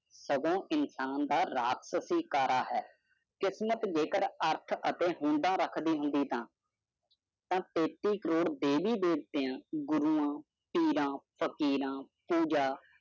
ਜਾਦੋਂ ਇੰਸਾਨ ਦੀ ਰਾਤ ਸੀ ਚਤਕਰਾ ਹੈ ਕਿਸਮਤ ਦਿਵਸ ਸੀ ਆਰ ਆਰ ਰੱਖੜੀ ਹੋਵੇ ਤਤਾਸਨ